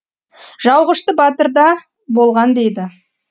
жауғашты батыр да болған дейді